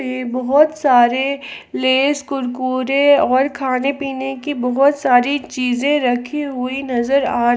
में बहोत सारे लेज कुरकुरे और खाने पीने की बहोत सारी चीजें रखी हुई नजर आ रही--